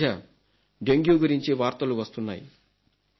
ఈ మధ్య డెంగ్యూ గురించి వార్తలు వస్తున్నాయి